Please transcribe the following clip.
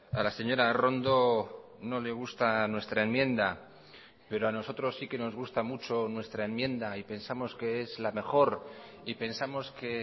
a la señora arrondo no le gusta nuestra enmienda pero a nosotros sí que nos gusta mucho nuestra enmienda y pensamos que es la mejor y pensamos que